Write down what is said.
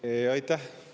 Aitäh!